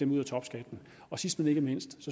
ud af topskatten sidst men ikke mindst